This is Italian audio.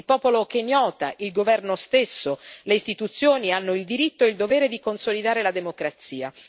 Il popolo kenyota, il governo stesso e le istituzioni hanno il diritto e il dovere di consolidare la democrazia.